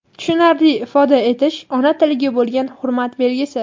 tushunarli ifoda etish ona tiliga bo‘lgan hurmat belgisi.